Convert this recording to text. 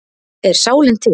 Er sálin til?